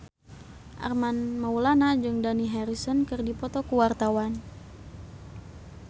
Armand Maulana jeung Dani Harrison keur dipoto ku wartawan